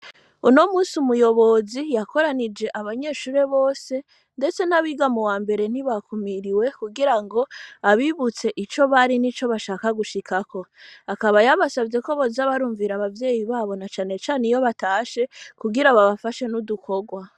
Uno munsi, umuyobozi, yakoranije abanyeshure bose, ndetse n'abiga mu wa mbere, ntibakumiriwe, kugira ngo abibutse ico bari, n'ico bashaka gushikako; akaba yabasavye ko, boza barumvira abavyeyi babo, na cane cane, iyo batashe, kugira babafashe, n'udukorwa.